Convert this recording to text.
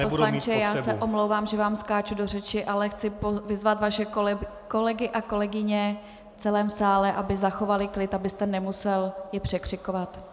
Pane poslanče, já se omlouvám, že vám skáču do řeči, ale chci vyzvat vaše kolegy a kolegyně v celém sále, aby zachovali klid, abyste je nemusel překřikovat.